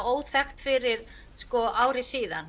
óþekkt fyrir ári síðan